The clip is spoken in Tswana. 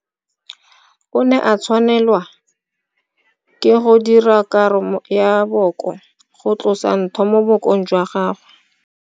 O ne a tshwanelwa ke go dira karo ya booko go tlosa ntho mo bookong jwa gagwe.